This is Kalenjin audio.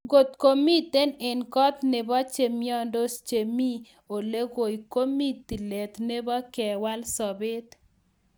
"Ngot imiten en koot nebo chemiondos che mi ole ng'oi, ko mi tilet nebo kewal sobet."